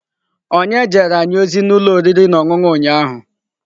Onye jere anyị ozi n'ụlọ oriri na ọṅụṅụ ụnyahụ?